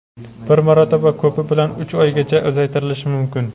bir marotaba ko‘pi bilan uch oygacha uzaytirilishi mumkin.